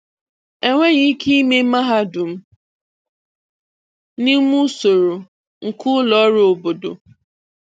Enweghị ike ịme mahadum n'ime usoro nke ụlọ ọrụ obodo.